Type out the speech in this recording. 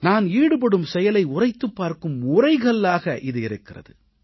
நான் ஈடுபடும் செயலை உரைத்துப் பார்க்கும் உரைகல்லாக இது இருக்கிறது